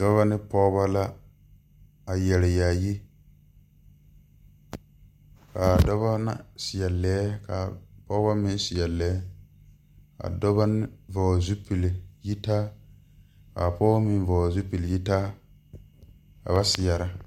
Dɔba ne pɔgeba la a yare yaayi ka a dɔba seɛ lɛɛ ka a Pɔgeba meŋ seɛ lɛɛ a dɔba vɔgle zupil yitaa ka a Pɔgeba meŋ vɔgle zupil yitaa ka ba seɛrɛ.